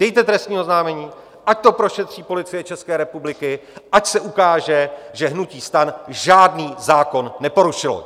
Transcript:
Dejte trestní oznámení, ať to prošetři Policie České republiky, ať se ukáže, že hnutí STAN žádný zákon neporušilo!